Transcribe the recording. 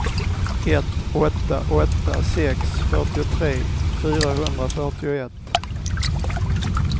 ett åtta åtta sex fyrtiotre fyrahundrafyrtioett